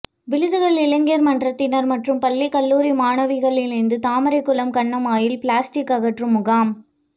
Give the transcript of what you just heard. விழுதுகள் இளைஞர் மன்றத்தினர் மற்றும் பள்ளி கல்லூரி மாணவிகள் இணைந்து தாமரைக்குளம் கண்மாயில் பிளாஸ்டிக் அகற்றும் முகாம்